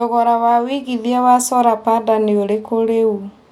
thogora wa wĩigĩthĩa wa solar panda nĩ ũrikũ rĩũ